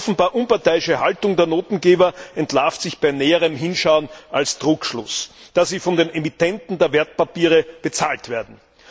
Die offenbar unparteiische Haltung der Notengeber entlarvt sich bei näherem Hinschauen als Trugschluss, da sie von den Emittenten der Wertpapiere bezahlt werden.